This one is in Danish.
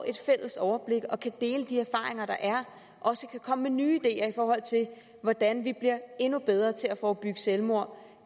et fælles overblik og kan dele de erfaringer der er og også kan komme med nye ideer i forhold til hvordan vi bliver endnu bedre til at forebygge selvmord